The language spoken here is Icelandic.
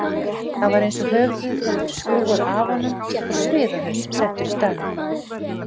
Það var eins og höfuðið hefði verið skrúfað af honum og sviðahaus settur í staðinn.